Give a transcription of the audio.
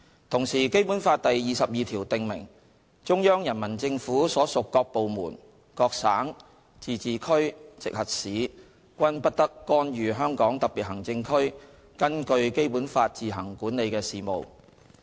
同時，《基本法》第二十二條訂明，中央人民政府所屬各部門、各省、自治區、直轄市均不得干預香港特別行政區根據《基本法》自行管理的事務。